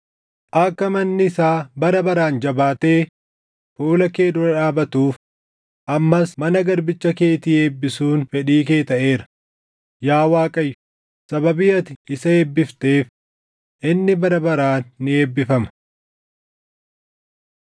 Akka manni isaa bara baraan jabaattee fuula kee dura dhaabatuuf ammas mana garbicha keetii eebbisuun fedhii kee taʼeera; yaa Waaqayyo sababii ati isa eebbifteef, inni bara baraan ni eebbifama.”